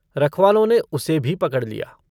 रख वालों ने उसे भी पकड़ लिया।